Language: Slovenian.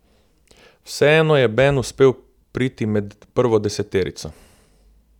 Vseeno je Ben uspel priti med prvo deseterico.